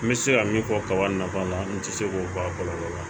N bɛ se ka min fɔ kaba nafa la n tɛ se k'o bɔ a kɔlɔlɔ la